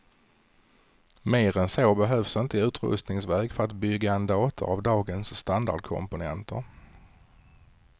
Mer än så behövs inte i utrustningssväg för att bygga en dator av dagens standardkomponenter.